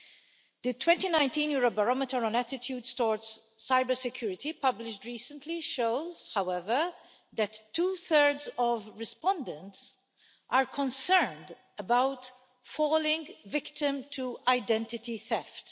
The 2019 Eurobarometer on attitudes towards cybersecurity published recently shows, however, that two thirds of respondents are concerned about falling victim to identity theft.